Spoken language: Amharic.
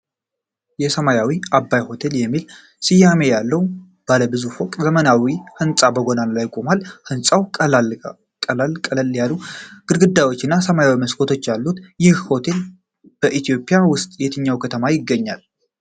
የሰማያዊ አባይ ሆቴል የሚል ስያሜ ያለው ባለ ብዙ ፎቅ ዘመናዊ ሕንጻ በጎዳና ላይ ቆሟል። ሕንፃው ቀላል ቀለም ያላቸው ግድግዳዎች እና ሰማያዊ መስኮቶች አሉት። ይህ ሆቴል በኢትዮጵያ ውስጥ በየትኛው ከተማ ይገኛል?